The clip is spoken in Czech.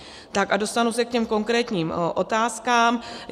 Tak a dostanu se k těm konkrétním otázkám.